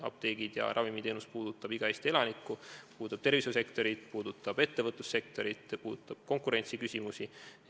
Apteegid ja ravimiteenus puudutab iga Eesti elanikku, puudutab tervishoiusektorit, puudutab ettevõtlussektorit, puudutab konkurentsiküsimusi.